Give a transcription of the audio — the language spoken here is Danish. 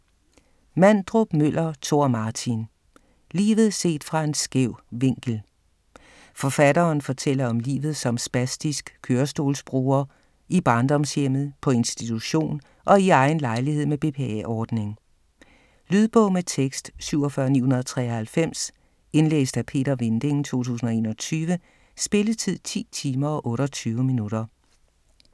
Mandrup-Møller, Tor Martin: Livet set fra en skæv vinkel Forfatteren fortæller om om livet som spastisk kørestolsbruger – i barndomshjemmet, på institution og i egen lejlighed med BPA-ordning. Lydbog med tekst 47993 Indlæst af Peter Vinding, 2021. Spilletid: 10 timer, 28 minutter.